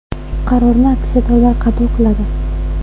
Qarorni aksiyadorlar qabul qiladi.